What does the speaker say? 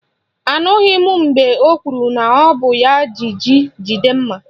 Anụghị m mgbe o kwuru na ọ bụ ya jì jí jide mma